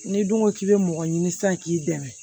N'i dun ko k'i bɛ mɔgɔ ɲini sisan k'i dɛmɛ